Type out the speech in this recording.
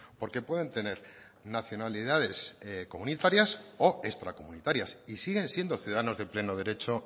porque pueden tener nacionalidades comunitarias o extracomunitarias y siguen siendo ciudadanos de pleno derecho